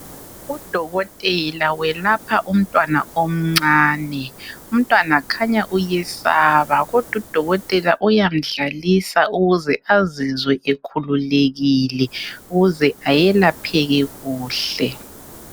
Udokotela welapha umntwana omncane. Umntwana khanya uyeseba kodwa udokotela uyamdlalisa ukuze azizwe ekhululekile ukuze ayelapheke kuhle.